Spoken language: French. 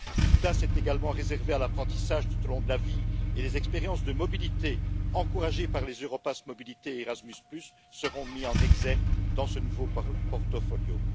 Une place est également réservée à l'apprentissage tout au long de la vie, et les expériences de mobilité encouragées par les Europass mobilité Erasmus seront mis en exergue dans ce nouveau portfolio.